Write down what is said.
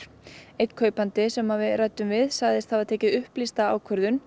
einn kaupandi sem ræddi við segist hafa tekið upplýsta ákvörðun